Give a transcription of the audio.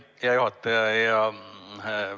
Hea juhataja!